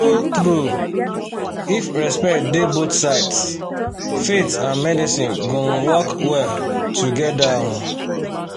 true-true if respect dey both sides faith and medicine go um work well together. um